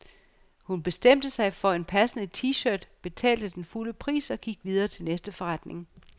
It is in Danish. Hun bestemte sig for en passende t-shirt, betalte den fulde pris og gik videre til næste forretning.